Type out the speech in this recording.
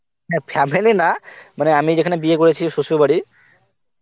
না family না, আমি যেখানে বিয়ে করেছি শ্বশুর বাড়ি.